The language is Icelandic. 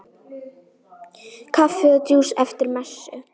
Kaffi og djús eftir messu.